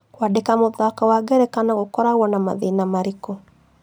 Kwandĩka mũthako wa ngerekano gũkoragwa na mathĩna marĩkũ